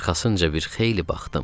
Arxasınca bir xeyli baxdım.